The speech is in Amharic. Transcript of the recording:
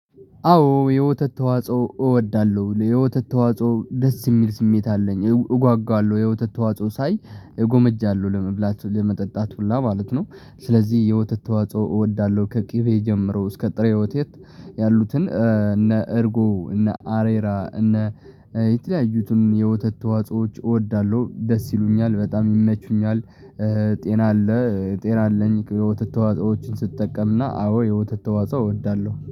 አዎ የወተት ተዋጽኦ እወዳለሁ የወተት ተዋጽኦ ደስ የሚል ስሜት አለኝ እጓጓለሁ የወተት ተዋጽኦ ሳይ እጎመጃለሁ ለመብላት ለመጠጣት ሁላ ማለት ነው። ስለዚህ የወተት ተዋጽኦ እወዳለሁ ከቅቤ ጀምሮ እስከ ጥሬ ወቴት ያሉትን እነ እርጎ እነ አሬራ እነ የተለያዩትን የወተት ተዋጾዎች እወዳለሁ ደስ ይሉኛል በጣም ይመቹኛል። ጤና አለ ጤና አለኝ የወተት ተዋጾዎችን ስጠቀምና አዎ የወተት ተዋጾ እወዳለሁ